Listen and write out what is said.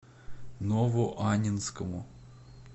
новоаннинскому